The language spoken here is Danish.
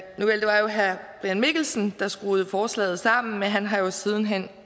brian mikkelsen der skruede forslaget sammen men han har jo siden hen